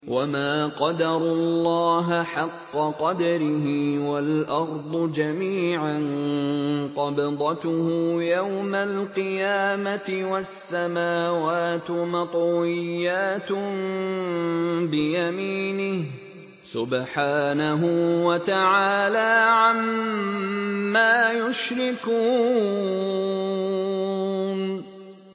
وَمَا قَدَرُوا اللَّهَ حَقَّ قَدْرِهِ وَالْأَرْضُ جَمِيعًا قَبْضَتُهُ يَوْمَ الْقِيَامَةِ وَالسَّمَاوَاتُ مَطْوِيَّاتٌ بِيَمِينِهِ ۚ سُبْحَانَهُ وَتَعَالَىٰ عَمَّا يُشْرِكُونَ